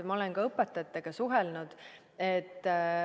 Ma olen ka õpetajatega suhelnud.